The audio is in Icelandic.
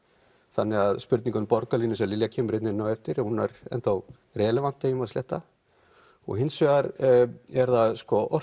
þannig spurning um borgarlínu eins og Lilja kemur hérna inn á á eftir hún er enn þá relevant ef ég má sletta og hins vegar er það